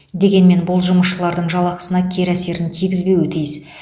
дегенмен бұл жұмысшылардың жалақысына кері әсерін тигізбеуі тиіс